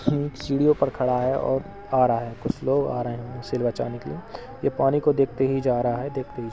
ये सीढ़ियों पर खड़ा है और आ रहा है। कुछ लोग आ रहे उसे बचाने के लिए। ये पानी को देखते ही जा रहा है। देखते ही --